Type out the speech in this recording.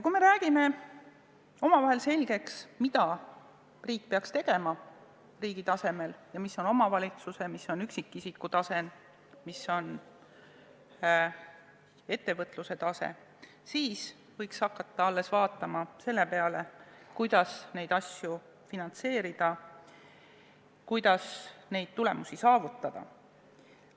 Kui me oleme omavahel selgeks rääkinud, mida riik peaks tegema riigi tasemel ja mida tuleks teha omavalitsuse, mida üksikisiku ja mida ettevõtluse tasemel, alles siis võiks hakata mõtlema, kuidas neid asju finantseerida, kuidas neid tulemusi saavutada.